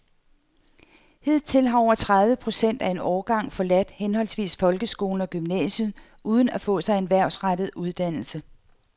Hidtil har over tredive procent af en årgang forladt henholdsvis folkeskolen og gymnasiet uden at få sig en erhvervsrettet uddannelse.